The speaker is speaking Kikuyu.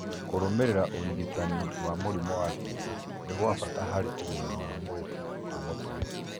Kũrũmĩrĩra ũrigitani wa mũrimũ wa ngingo nĩ gwa bata harĩ ũgima wa mwĩrĩ wa mũtwe